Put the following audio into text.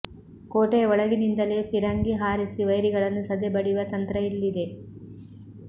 ಕೋಟೆಯ ಒಳಗಿನಿಂದಲೇ ಪಿರಂಗಿ ಹಾರಿಸಿ ವೈರಿಗಳನ್ನು ಸದೆ ಬಡಿಯುವ ತಂತ್ರ ಇಲ್ಲಿದೆ